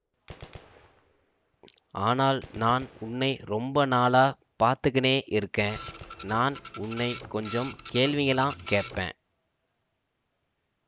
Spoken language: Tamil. ஆனால் நான் உன்னை ரொம்ப நாளாப் பார்த்துக்கினே இருக்க நான் உன்னை கொஞ்சம் கேள்விங்கள்ளாம் கேப்பேன்